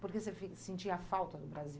Porque você fe sentia falta do Brasil?